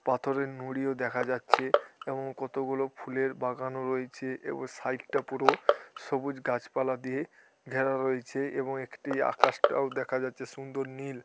পাথরের নুড়ি ও দেখা যাচ্ছে এবং কতগুলো ফুলের বাগানো রয়েছে এবং সাইটটা পুরো সবুজ গাছপালা দিয়ে ঘেরা রয়েছে এবং একটি আকাশটাও দেখা যাচ্ছে সুন্দর নীল।